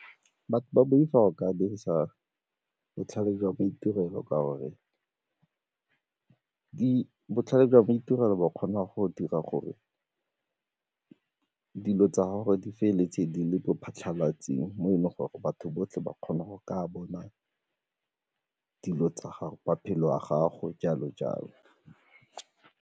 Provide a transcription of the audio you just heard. Batho ba boifa go ka dirisa botlhale jwa maitirelo gore botlhale jwa maitirelo bo kgona go dira gore dilo tsa gore di feleletse di le mo phatlhalatseng mo e leng gore batho botlhe ba kgona go ka bona dilo tsa gago, maphelo a gago, jalo-jalo.